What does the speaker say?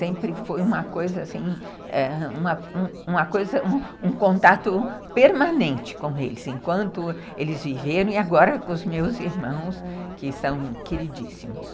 Sempre foi uma coisa assim, um contato permanente com eles, enquanto eles viveram e agora com os meus irmãos, que são queridíssimos.